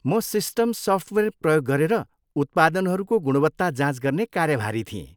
म system software प्रयोग गरेर उत्पादनहरूको गुणवत्ता जाँच गर्ने कार्यभारी थिएँ।